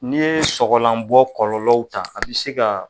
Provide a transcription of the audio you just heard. N'i ye sɔgɔlanbɔ kɔlɔlɔw ta a bi se ka.